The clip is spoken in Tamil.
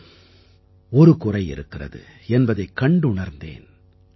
ஆம் ஒரு குறை இருக்கிறது என்பதைக் கண்டுணர்ந்தேன்